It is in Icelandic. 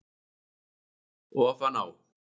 Ofan á